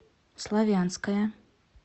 славянское